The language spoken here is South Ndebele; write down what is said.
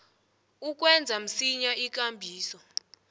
ukwenza msinya ikambiso